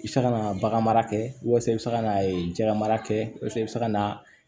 I bɛ se ka na bagan mara kɛ walasa i bɛ se ka na jɛgɛ mara kɛ walasa i bɛ se ka na